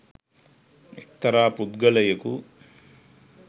එක්තරා පුද්ගලයෙකු